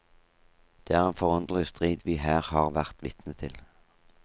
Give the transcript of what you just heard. Det er en forunderlig strid vi her har vært vitne til.